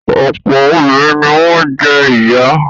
Ọ̀pọ̀ obìnrin ni wọ́n jẹ́ ìyá.